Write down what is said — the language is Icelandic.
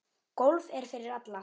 Golf er fyrir alla